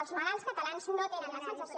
els malalts catalans no tenen la sensació